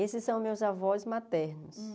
Esses são meus avós maternos.